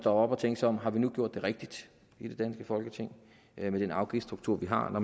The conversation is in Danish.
op og tænke sig om har vi nu gjort det rigtige i det danske folketing med den afgiftsstruktur vi har når